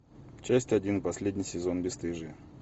часть один последний сезон бесстыжие